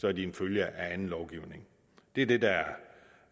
er de en følge af anden lovgivning det er det der